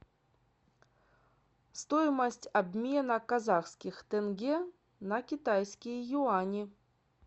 стоимость обмена казахских тенге на китайские юани